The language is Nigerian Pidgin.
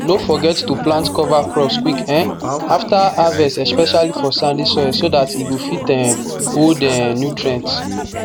no forget to plant cover crops quick um after harvest especially for sandy soil so e go fit um hold the um nutrients